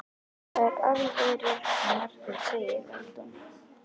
Það er alveg rétt sem Margrét segir, vældi hún.